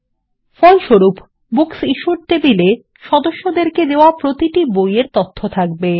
ফলস্বরূপ বুকসিশ্যুড টেবিল এ সদস্যদেরকে দেওয়া প্রতিটি বই এর তথ্য থাকবে